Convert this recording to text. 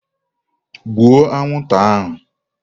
Gbuo anwụnta ahụ!